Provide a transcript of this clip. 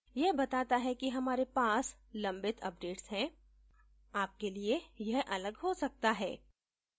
यह बताता है कि हमारे पास लंबित updates हैं आप के लिए यह अलग हो सकता है